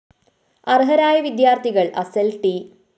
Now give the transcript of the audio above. അര്‍ഹരായ വിദ്യാര്‍ഥികള്‍ അസല്‍ ട്‌